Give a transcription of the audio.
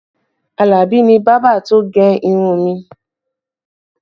Alabi ni bábà tó gẹ irun mi